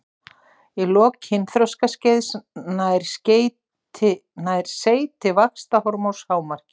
Í lok kynþroskaskeiðs nær seyti vaxtarhormóns hámarki.